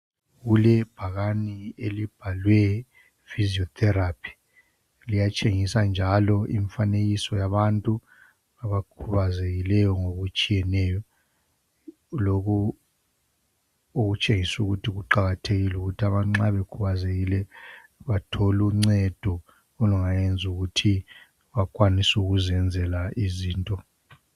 Kulebhakani elibhalwe physiotherapy. Liyatshengisa njalo imfanekiso yabantu abakhubazekileyo, ngokutshiyeneyo. Lokhu okutshengisa ukuthi kuqakathekile ukuthi abantu nxa bekhubazekile, bathole uncedo olungayenza ukuthi bakwanise ukuzenzela izinto.